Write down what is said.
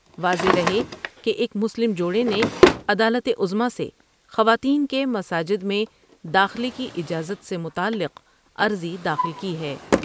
واضح رہے کہ ایک مسلم جوڑے نے عدالت عظمی سے خواتین کے مساجد میں داخلے کی اجازت سے متعلق عرضی داخل کی ہے ۔